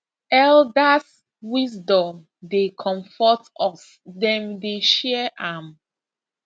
elders wisdom dey comfort us dem dey share am